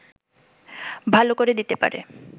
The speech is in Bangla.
ভালো করে দিতে পারে